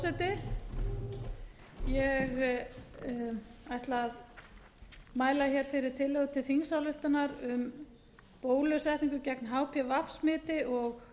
frú forseti ég ætla að mæla hér fyrir tillögu til þingsályktunar um bólusetningu gegn hpv smiti og